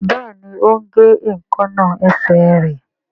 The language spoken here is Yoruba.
Béèni o ń gé Èékánná esè rẹ.